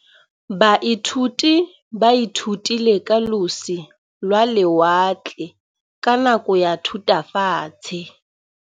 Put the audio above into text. Baithuti ba ithutile ka losi lwa lewatle ka nako ya Thutafatshe.